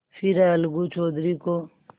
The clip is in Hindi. फिर अलगू चौधरी को